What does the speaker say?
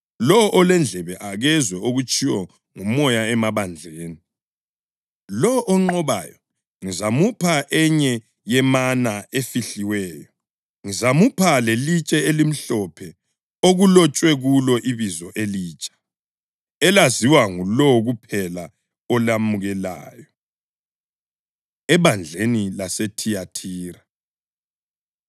Lowo olendlebe, akezwe okutshiwo nguMoya emabandleni. Lowo onqobayo, ngizamupha enye yemana efihliweyo. Ngizamupha lelitshe elimhlophe okulotshwe kulo ibizo elitsha, elaziwa ngulowo kuphela olamukelayo.” Ebandleni LaseThiyathira